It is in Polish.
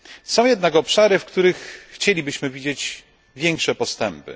Są jednak obszary, w których chcielibyśmy widzieć większe postępy.